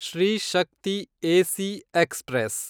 Shri Shakti AC express